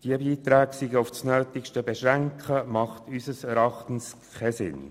Diese Beiträge auf das Nötigste zu beschränken, macht unseres Erachtens keinen Sinn.